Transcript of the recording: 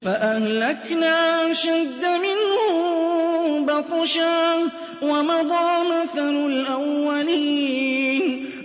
فَأَهْلَكْنَا أَشَدَّ مِنْهُم بَطْشًا وَمَضَىٰ مَثَلُ الْأَوَّلِينَ